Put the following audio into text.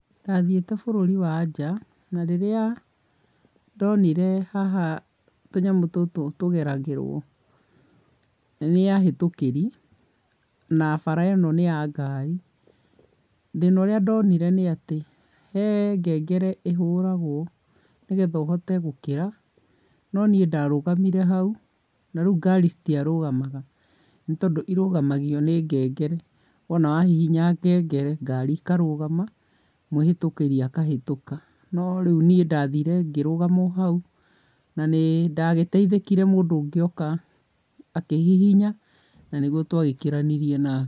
Ndathiĩte bũrũri wa nja, na rĩrĩa ndonire haha tũnyamũ tũtũ tũgeragĩrwo, nĩ ahĩtũkĩrĩ, na bara ĩno nĩ ya ngari, thĩna ũrĩa ndonire nĩ atĩ, he ngengere ĩhũragwo, nĩgetha ũhote gũkĩra, no niĩ ndarũgamire hau na rĩu ngari citiarũgamaga, nĩ tondũ irũgamagio nĩ ngengere, wona wahihinya ngengere, ngari ikarũgama, mwĩhĩtũkĩri akahĩtũka. No rĩu niĩ ndathire ngĩrũgama o hau na nĩ ndagĩteithĩkire mũndũ ũngĩ oka, akĩhihinya na nĩrĩo twagĩkĩranirie nake